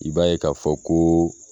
I b'a ye k'a fɔ koo